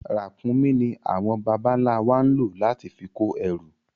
Ràkúnmí ní àwọn bàbá ń la wà máa ń lo láti fi kó ẹrù